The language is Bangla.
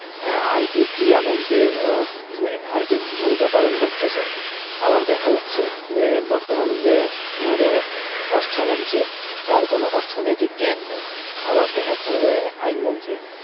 আর কি ক্রীড়া মন্ত্রীর আর কি ভুমিকা পালন করতেছে। আবার দেখা যাচ্ছে যে বর্তমান যে আমাদের অর্থ মন্ত্রী তার কোনও অর্থনৈতিক জ্ঞান নেই। আবার দেখা যাচ্ছে যে আইন মন্ত্রী